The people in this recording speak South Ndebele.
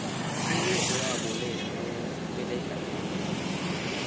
angeze waboleka nawukweleda khulu